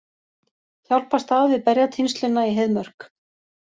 Hjálpast að við berjatínsluna í Heiðmörk